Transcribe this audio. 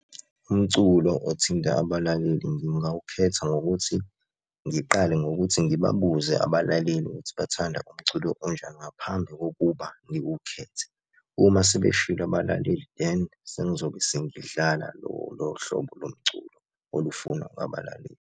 Umculo othinta abalaleli ngingawukhetha ngokuthi ngiqale ngokuthi ngibabuze abalaleli ukuthi bathanda umculo onjani ngaphambi kokuba ngiwukhethe. Uma sebeshilo abalaleli, then sengizobe sengidlala lolo hlobo lomculo olufunwa abalaleli.